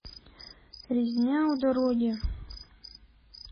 резня у дороги